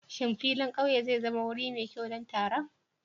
Shin filin ƙauye zai zama wuri mai kyau don taron?